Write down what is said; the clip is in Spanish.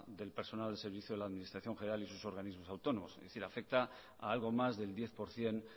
del personal del servicio de la administración general y su organismos autónomos es decir afecta a algo más del diez por ciento